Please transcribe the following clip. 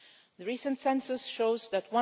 The recent census shows that